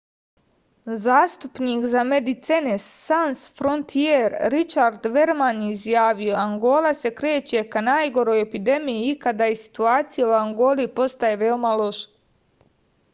zastupnik za medecines sans frontier ričard verman je izjavio angola se kreće ka najgoroj epidemiji ikada i situacija u angoli ostaje veoma loša